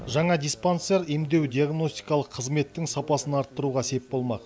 жаңа диспансер емдеу диагностикалық қызметтің сапасын арттыруға сеп болмақ